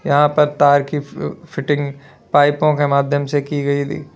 यहां पर तार की फ फिटिंग पाइपों के माध्यम से की गई दी।